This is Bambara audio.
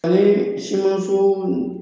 Hali simanso